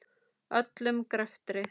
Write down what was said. Öllum greftri